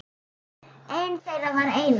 Einn þeirra var Einar